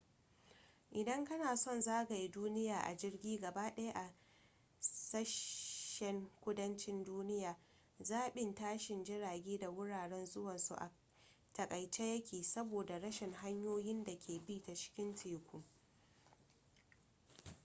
idan kana son zagaye duniya a jirgi gaba daya a sashen kudancin duniya zaɓin tashi jirage da wuraren zuwansu a takaice yake saboda rashin hanyoyin da ke bi ta cikin teku